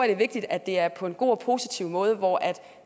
er vigtigt at det er på en god og positiv måde hvor